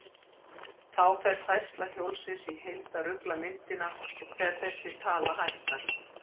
Þá fer færsla hjólsins í heild að rugla myndina þegar þessi tala hækkar.